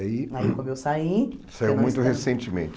Aí, aí como eu saí... Saiu muito recentemente.